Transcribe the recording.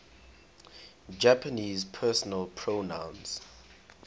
japanese personal pronouns